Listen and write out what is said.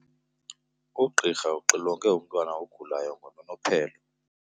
Ugqirha uxilonge umntwana ogulayo ngononophelo.